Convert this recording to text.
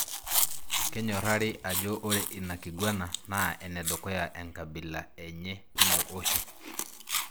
Kenyorari ajo ore ina kigwana na enedukuya enkabila enye tilo osho.